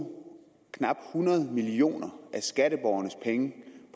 knap hundrede million af skatteborgernes penge